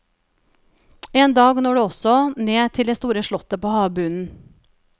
En dag når det også ned til det store slottet på havbunnen.